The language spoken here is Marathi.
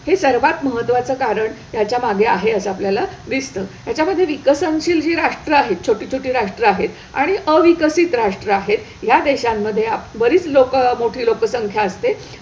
हे सर्वात महत्वाचं कारण ह्याच्यामागे आहे असं आपल्याला दिसतं. हयाच्यामध्ये विकसनशील जी राष्ट्र आहेत, छोटी छोटी राष्ट्र आहेत आणि अविकसित राष्ट्र आहेत, या देशांमध्ये बरीच लोकं मोठी लोकसंख्या असते.